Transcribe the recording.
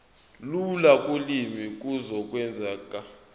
lula kolimi kuzokwenzeka